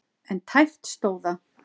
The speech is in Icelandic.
En tæpt stóð það.